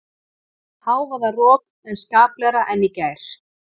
Hávaðarok en skaplegra en í gær